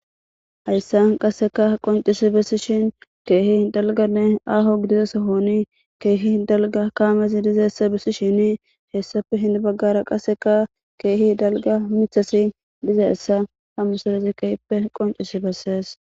Hayssan qasseka qoncisi bessishin keehi hindalganne aaho gidizesahoni keehi hindalga kaamezi dizeessa bessi shini heessafe hin baggara qaseka keehi dalga michasi dizaessa hamusilez keppe qoncisi bessees.